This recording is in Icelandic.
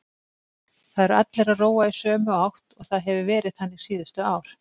Það eru allir að róa í sömu átt og það hefur verið þannig síðustu ár.